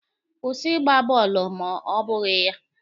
Kwụsị Ịgba bọọlụ ma ọ bụghị ya!